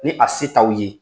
Ni a se taw ye